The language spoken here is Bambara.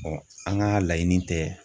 Ɔn an ga laɲini tɛ